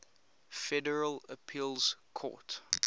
federal appeals court